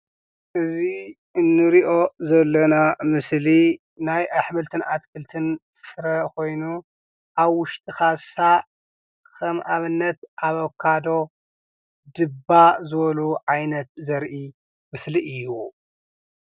እዚ እንርኦ ዘለና ምስሊ ናይ ኣሕምልትን ኣትክልትን ፍረ ኮይኑ ኣብ ውሽጢ ካሳ ከም ኣብነት ኣቨካዶ፣ ድባ ዝበሉ ዓይነት ዘርኢ ምስሊ እዩ።